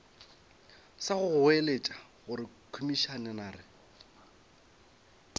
sa go goeletša gore komišenare